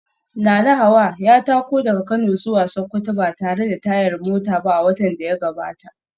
Nanahawa ya tako daga Kano zuwa Sokoto ba tare da tayar mota ba a watan da ya gabata